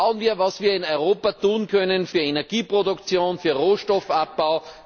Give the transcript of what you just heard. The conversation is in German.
Schauen wir, was wir in Europa tun können für Energieproduktion, für Rohstoffabbau!